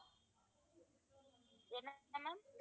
என்ன maam